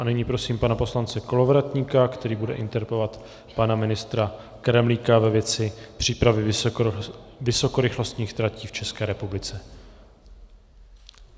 A nyní prosím pana poslance Kolovratníka, který bude interpelovat pana ministra Kremlíka ve věci přípravy vysokorychlostních tratí v České republice.